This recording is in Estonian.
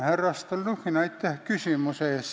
Härra Stalnuhhin, aitäh küsimuse eest!